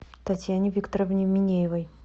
татьяне викторовне минеевой